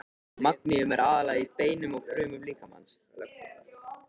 Magníum er aðallega í beinum og frumum líkamans.